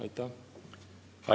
Aitäh!